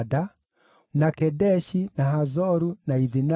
na Kedeshi, na Hazoru, na Ithinani,